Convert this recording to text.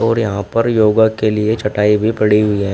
और यहां पर योगा के लिए चटाई भी पड़ी हुई है।